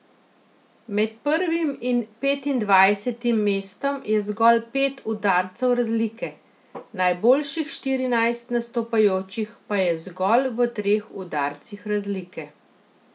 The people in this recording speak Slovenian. Med prvim in petindvajsetim mestom je zgolj pet udarcev razlike, najboljših štirinajst nastopajočih pa je zgolj v treh udarcih razlike.